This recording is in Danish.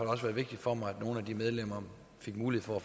også været vigtigt for mig at nogle af de medlemmer fik mulighed for at